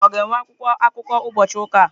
Ụka ọ ga-enwe akwụkwọ akụkọ ụbọchị ụka a?